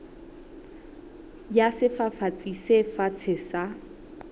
ya sefafatsi se fatshe sa